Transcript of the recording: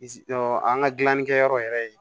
an ka gilannikɛyɔrɔ yɛrɛ ye